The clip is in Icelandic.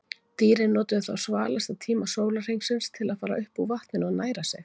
Dýrin notuðu þá svalasta tíma sólarhringsins til að fara upp úr vatninu og næra sig.